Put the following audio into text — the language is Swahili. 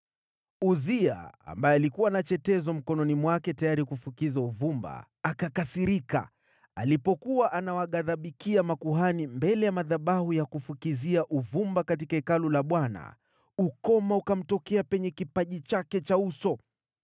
Uzia, ambaye alikuwa na chetezo mkononi mwake tayari kufukiza uvumba, akakasirika. Alipokuwa anawaghadhibikia makuhani mbele ya madhabahu ya kufukizia uvumba katika Hekalu la Bwana , ukoma ukamtokea penye kipaji chake cha uso.